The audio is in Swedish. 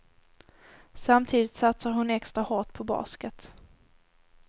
Samtidigt satsar hon extra hårt på basket.